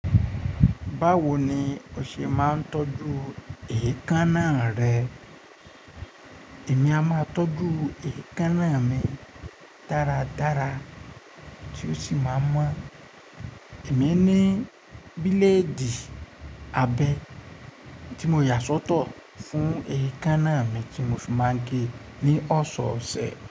Báwo ni o ṣe máa ń tọ́jú èékánná rẹ? Èmi a máa tọ́jú èékánná mi dáradára tí ó sì máa mọ̀. Èmi ní bíléèdì abẹ tí mo yà sọ́tọ̀ fún èékánná mi tí mo fi máa ń gé ní ọ̀sọ̀ọ̀sẹ̀.